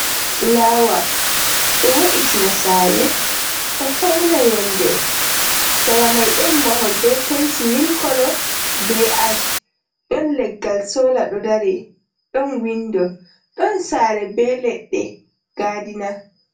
Fulaawa ɗo wo’itina saare ,ɗo fawna yonnde. Sera may ɗon mahol be penti mili kolo be aac, ɗon leggal soola ɗo dari ,ɗon winndo ,ɗon saare be leɗɗe gaadina.